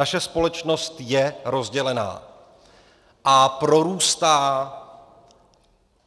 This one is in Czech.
Naše společnost je rozdělená a prorůstá